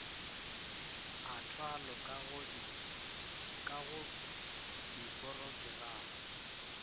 a thwalo ka go diporokerama